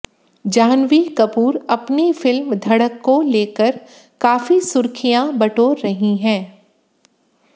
जाह्नवी कपूर अपनी फिल्म धड़क को लेकर काफी सुर्खियां बटोर रही हैं